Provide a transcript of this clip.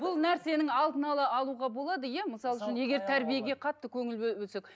бұл нәрсенің алдын ала алуға болады иә мысалы үшін егер тәрбиеге қатты көңіл бөлсек